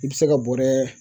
I bɛ se ka bɔɔrɛ